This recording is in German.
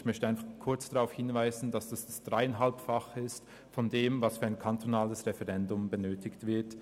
Ich möchte darauf hinweisen, dass es das Dreieinhalbfache dessen ist, was für ein kantonales Referendum benötigt wird.